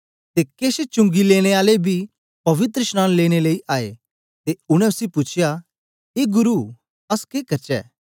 ते केछ चुंगी लेने आले बी पवित्रशनांन लेने लेई आए ते उनै उसी पूछया ए गुरु अस के करचै